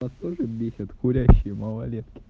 вас тоже бесят курящие малолетки